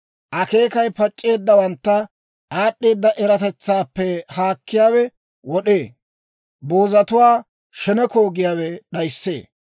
Akeekay pac'c'eeddawantta aad'd'eeda eratetsaappe haakkiyaawe wod'ee; boozatuwaa sheneko giyaawe d'ayissee.